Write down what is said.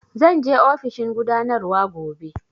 Zan je ofishin gudanarwa gobe